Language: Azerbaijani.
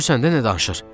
Görürsən də nə danışır?